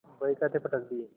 बहीखाते पटक दिये